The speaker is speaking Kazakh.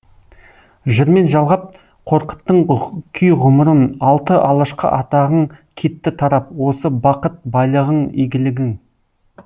жырмен жалғап қорқыттың күй ғұмырын алты алашқа атағың кетті тарап осы бақыт байлығың игілігің